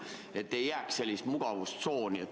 Tegelikult ei saa jääda sellist mugavustsooni.